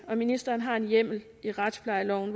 og ministeren har en hjemmel i retsplejeloven